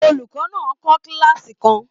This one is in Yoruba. Olùkọ́ náà ń kọ́ kílààsì kan.